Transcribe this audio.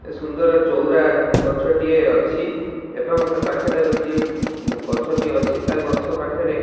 ଏ ସୁନ୍ଦର ଚଉରା ଗଛଟିଏ ଅଛି ଏବଂ ତା ପାଖରେ ଗୋଟିଏ ଗଛଟିଏ ଅଛି ତା ଗଛ ପାଖରେ --